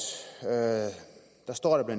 står der bla